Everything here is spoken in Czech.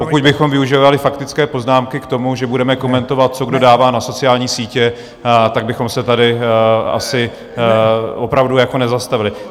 Pokud bychom využívali faktické poznámky k tomu, že budeme komentovat, co kdo dává na sociální sítě, tak bychom se tady asi opravdu nezastavili.